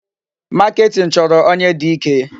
Marketing chọrọ onye dị ike.